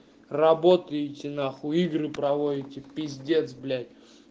работаете нахуй игры проводите пиздец блять